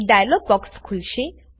એક dialog box ખુલશે